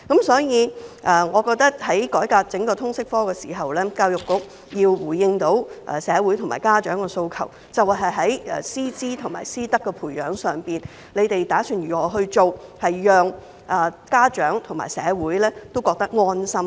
所以我認為，在改革整個通識科的時候，教育局要回應社會和家長的訴求，表示在師資和師德的培養上打算怎樣做，讓家長和社會覺得安心。